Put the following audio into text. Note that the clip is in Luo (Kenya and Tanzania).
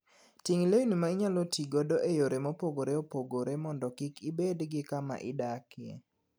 Ting' lewni ma inyalo ti godo e yore mopogore opogore mondo kik ibed gi kama idakie.